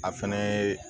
A fɛnɛ yee